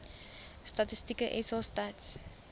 statistieke sa stats